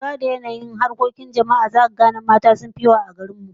Ko da lura da yanayin harkokin jama'a a garin mu, zaka ga alamu cewa mata sun fi maza yawa.